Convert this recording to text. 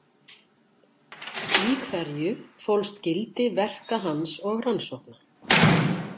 Í hverju fólst gildi verka hans og rannsókna?